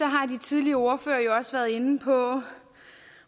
har de tidligere ordførere jo også været inde på